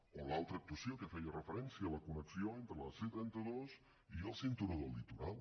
o l’altra actuació a què feia referència la connexió entre la c trenta dos i el cinturó del litoral